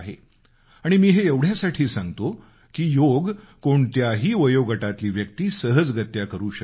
आणि मी हे एवढ्यासाठी सांगतो की योग कोणत्याही वयोगटातली व्यक्ती सहजगत्या करू शकते